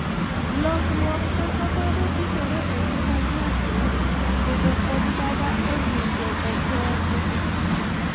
Lokruok ma kamano timore e ngima ng'ato kendo en mana e ng'injogo kende.